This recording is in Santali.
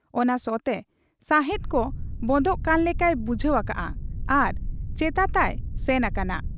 ᱚᱱᱟ ᱥᱚ ᱛᱮ ᱥᱟᱦᱮᱸᱫ ᱠᱚ ᱵᱚᱸᱫᱚᱜ ᱠᱟᱱ ᱞᱮᱠᱟᱭ ᱵᱩᱡᱷᱟᱹᱣ ᱟᱠᱟᱜ ᱟ ᱟᱨ ᱪᱮᱛᱟᱛᱟᱭ ᱥᱮᱱ ᱟᱠᱟᱱᱟ ᱾